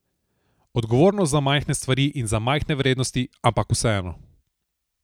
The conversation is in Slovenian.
Odgovornost za majhne stvari in za majhne vrednosti, ampak vseeno.